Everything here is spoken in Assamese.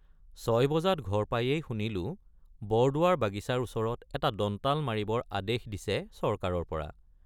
৬॥ বজাত ঘৰ পায়েই শুনিলোঁ বৰদুৱাৰ বাগিচাৰ ওচৰত এটা দন্তাল মাৰিবৰ আদেশ দিছে চৰকাৰৰপৰা।